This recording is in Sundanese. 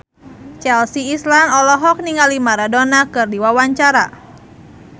Chelsea Islan olohok ningali Maradona keur diwawancara